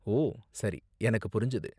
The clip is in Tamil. ஓ, சரி, எனக்கு புரிஞ்சது.